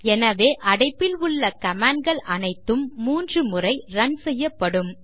எனவே அடைப்பில் உள்ள கமாண்ட்ஸ் அனைத்தும் 3 முறை ரன் செய்யப்படும்